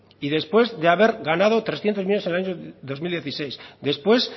y después de haber ganado trescientos millónes en año dos mil dieciséis después